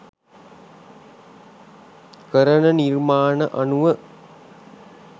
කරන නිර්මාණ අනුව.